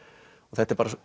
þetta er